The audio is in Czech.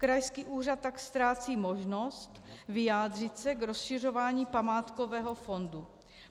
Krajský úřad tak ztrácí možnost vyjádřit se k rozšiřování památkového fondu.